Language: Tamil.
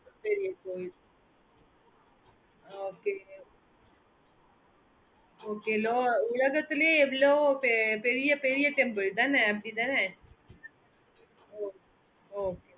okay okay உலகத்திலே அவ்ளோ பெரிய பெரிய temple தானா அப்பிடி தான அஹ் அஹ்